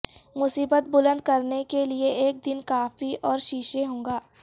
مصیبت بلند کرنے کے لئے ایک دن کافی اور شیشے ہو گا